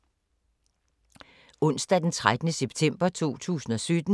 Onsdag d. 13. september 2017